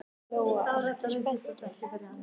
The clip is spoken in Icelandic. Lóa: Ertu spenntur?